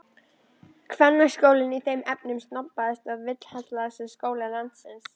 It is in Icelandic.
Kvennaskólinn í þeim efnum snobbaðasti og vilhallasti skóli landsins.